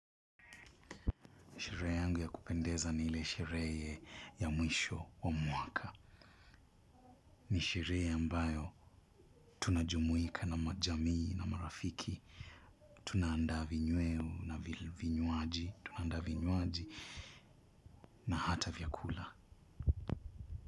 Sherehe yangu ya kupendeza ni ile sherehe ya mwisho wa mwaka. Ni sherehe ambayo tunajumuika na majamii na marafiki. Tunaandaa vinyweo na vinywaji. Tunaandaa vinywaji na hata vyakula.